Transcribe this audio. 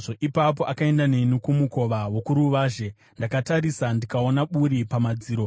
Ipapo akaenda neni kumukova wokuruvazhe. Ndakatarisa ndikaona buri pamadziro.